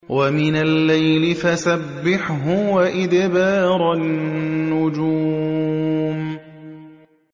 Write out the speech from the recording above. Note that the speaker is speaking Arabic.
وَمِنَ اللَّيْلِ فَسَبِّحْهُ وَإِدْبَارَ النُّجُومِ